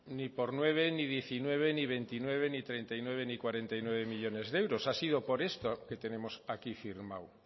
ni por nueve ni diecinueve ni veintinueve ni treinta y nueve ni cuarenta y nueve millónes de euros ha sido por esto que tenemos aquí firmado